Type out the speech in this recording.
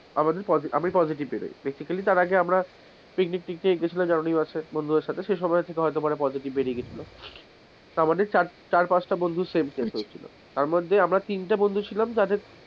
আমি পজেটিভ বেরোয়, basically তার আগে আমরা picnic টিকনিক এগুলো ছিলো জানুয়ারী মাসে বন্ধুদের সাথে সে সময়ের থেকে হতে পারে পজেটিভ বেরিয়ে গিয়েছিলো, তা মোটামুটি চার পাঁচটা বন্ধুর same case হয়েছিল, তারমধ্যে আমরা তিনটে বন্ধু ছিলাম যাদের,